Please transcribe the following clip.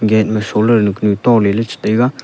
gate ma solar to le la che taiga.